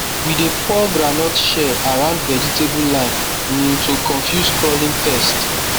we dey pour groundnut shell around vegetable line um to confuse crawling pest